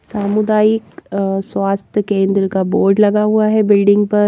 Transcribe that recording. सामुदायिक अअ स्वास्थ्य केंद्र का बोर्ड लगा हुआ हैबिल्डिंग पर--